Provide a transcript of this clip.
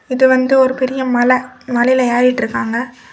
இது வந்து ஒரு பெரிய மலை மலையில ஏறிட்டிருக்காங்க.